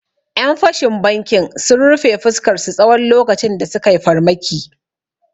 Ƴan fashin bankin sun rufe fuskarsu tsawon lokacin da sukai farmaki